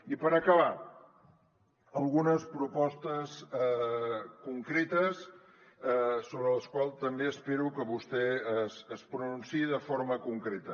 i per acabar algunes propostes concretes sobre les quals també espero que vostè es pronunciï de forma concreta